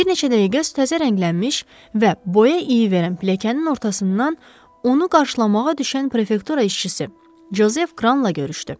Bir neçə dəqiqə o təzə rənglənmiş və boya iyi verən pilləkənin ortasından onu qarşılamağa düşən prefektura işçisi Jozef Kranla görüşdü.